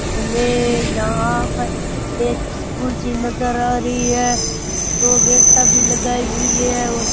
हमे यहां पर एक स्कूल सी नज़र आ रही है दो गेटाँ भी लगाई हुई है और --